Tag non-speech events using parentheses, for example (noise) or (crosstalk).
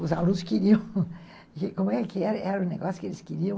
Os alunos queriam... (laughs) Como é que era o negócio que eles queriam?